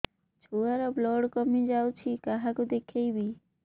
ଛୁଆ ର ବ୍ଲଡ଼ କମି ଯାଉଛି କାହାକୁ ଦେଖେଇବି